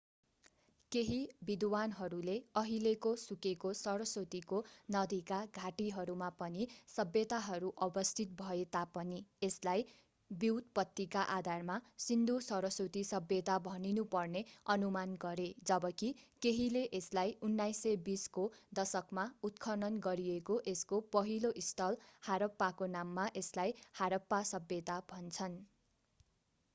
केही विद्वानहरूले अहिलेको सुकेको सरस्वती नदीका घाटीहरूमा पनि सभ्यताहरू अवस्थित भए तापनि यसलाई व्युत्पतिका आधारमा सिन्धु-सरस्वती सभ्यता भनिनुपर्ने अनुमान गरे जबकि केहीले यसलाई 1920 को दशकमा उत्खनन गरिएको यसको पहिलो स्थल हारप्पाको नाममा यसलाई हारप्पा सभ्यता भन्छन्